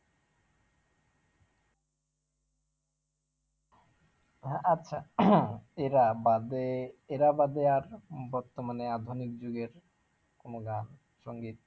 হ্যাঁ আচ্ছা এরা বাদে এরা বাদে আর বর্তমানে আধুনিক যুগের কোন গান সঙ্গীত